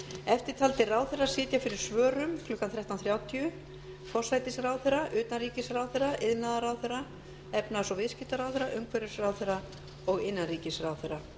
eftirtaldir ráðherrar sitja fyrir svörum klukkan þrettán þrjátíu forsætisráðherra utanríkisráðherra iðnaðarráðherra efnahags og viðskiptaráðherra umhverfisráðherra og innanríkisráðherra